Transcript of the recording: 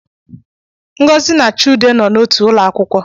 Ngozi na Chude nọ n’otu ụlọakwụkwọ